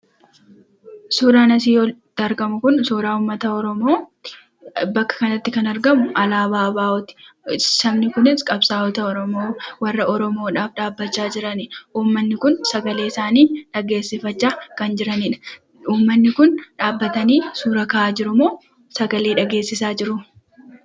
Suuraan asii olitti argamu kun suuraa uummata Oromooti. Bakka kanatti kan argamu alaabaa 'ABO' ti. Sabni kunis qabsaa'ota Oromoo warra Oromoof dhaabbachaa jiranidha. Ummanni kun sagalee isaanii dhageessifachaa kan jiranidha. Ummanni kun dhabbatanii suuraa ka'aa jirumoo sagalee dhageessisaa jiru?